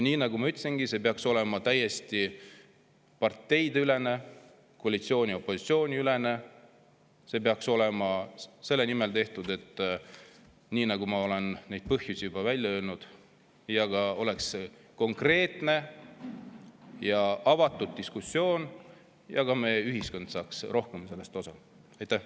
Nii nagu ma ütlesin, see peaks olema täiesti parteiülene, koalitsiooni ja opositsiooni ülene, see peaks olema tehtud selle nimel, mille ma olen põhjustena juba välja öelnud, ja peaks olema ka konkreetne ja avatud diskussioon, et meie ühiskond saaks sellest rohkem osa.